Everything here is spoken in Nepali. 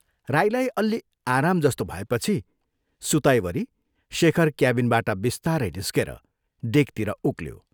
राईलाई अल्लि आराम जस्तो भएपछि सुताईवरि शेखर क्याबिनबाट बिस्तारै निस्केर डेकतिर उक्ल्यो।